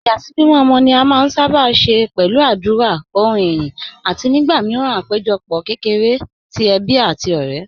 Ìyàsímímọ́ ọmọ ni a sábà máa ń ṣe pẹ̀lú àdúrà, orin ìyìn, àti nígbà míràn àpéjọpọ̀ kékeré ti ẹbí àti ọ̀rẹ́.